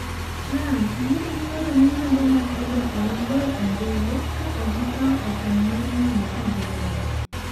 Trump: "ne gioro milionde mag oboke mag goyo ombulu ka ok gikawo okang' mar nono ka gibeyo."